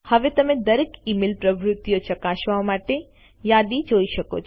હવે તમે દરેક ઇમેઇલ પ્રવૃત્તિઓ ચકાસવા માટે યાદી જોઈ શકો છો